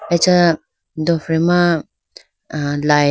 acha dofre ma ah light .